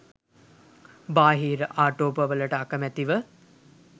බාහිර ආටෝපවලට අකැමැතිව